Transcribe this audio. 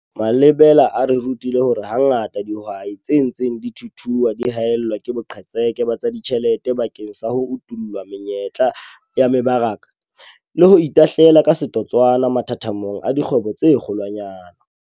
Malebela a re rutile hore hangata dihwai tse ntseng di thuthua di haellwa ke boqhetseke ba tsa ditjhelete bakeng sa ho utolla menyetla ya mebaraka le ho itahlela ka setotswana mathathamong a dikgwebo tse kgolwanyane.